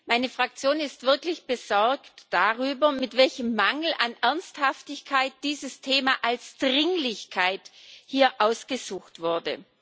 Meine Fraktion ist wirklich besorgt darüber, mit welchem Mangel an Ernsthaftigkeit dieses Thema als Dringlichkeit hier ausgesucht wurde.